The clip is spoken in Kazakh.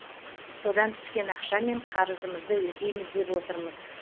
содан түскен ақшамен қарызымызды өтейміз деп отырмыз